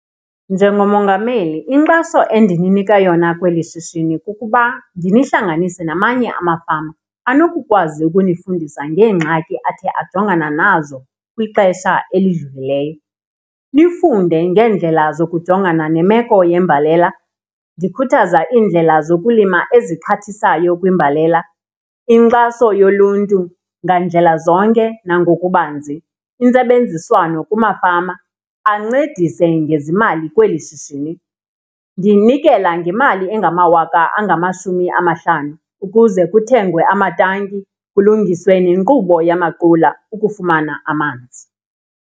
Njengomongameli inkxaso endininika yona kweli shishini kukuba ndinihlanganise namanye amafama anokukwazi ukunifundisa ngeengxaki athe ajongana nazo kwixesha elidlulileyo, nifunde ngeendlela zokujongana nemeko yembalela. Ndikhuthaza iindlela zokulima ezixhathisayo kwimbalela, inkxaso yoluntu ngandlela zonke nangokubanzi, intsebenziswano kumafama ancedise ngezimali kweli shishini. Ndinikela ngemali engamawaka angamashumi amahlanu ukuze kuthengwe amatanki kulungiswe nenkqubo yamaqula ukufumana amanzi.